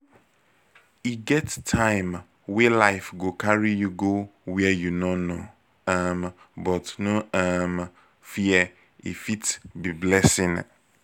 e get time wey life go carry you go where you no know um but no um fear e fit be blessing